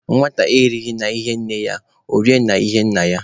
Nwata erighị n'ihi nne ya, ọ rie n'ihi nna ya.